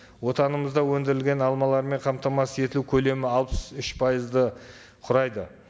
отанымызда өндірілген алмалармен қамтамасыз ету көлемі алпыс үш пайызды құрайды